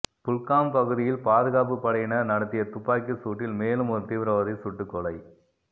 குல்காம் பகுதியில் பாதுகாப்பு படையினர் நடத்திய துப்பாக்கிச் சூட்டில் மேலும் ஒரு தீவிரவாதி சுட்டுக்கொலை